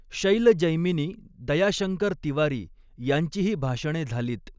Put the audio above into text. शैल जैमिनी, दयाशंकर तिवारी यांचीही भाषणे झालीत.